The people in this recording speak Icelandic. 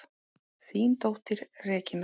Þín dóttir, Regína.